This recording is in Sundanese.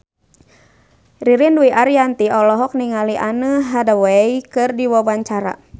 Ririn Dwi Ariyanti olohok ningali Anne Hathaway keur diwawancara